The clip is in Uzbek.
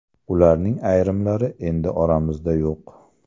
Ularning ayrimlari endi oramizda yo‘q.